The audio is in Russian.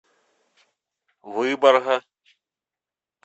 выборга